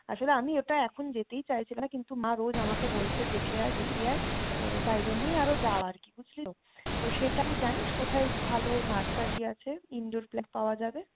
আসলে আমি ওটা এখন যেতেই চাইছিলাম না কিন্তু মা রোজ আমাকে বলছে দেখে আয় দেখে আয় তো তাইজন্যেই আরও যাওয়া আরকি বুঝলি তো? তো সেটা তুই জানিস কোথায় ভালো nursery আছে indoor plant পাওয়া যাবে?